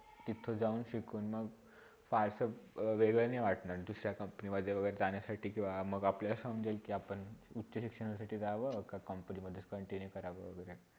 तिथे जाऊन शिकून मग parts of वेग वैगरे वाटणार दुसऱ्या COMPANY मधे वैगरे जाण्यासाठी किवा मघ अपल्याला समजेल के आपण उच्च शिक्षणासाठी जाव के COMPANY समधे continue करावा.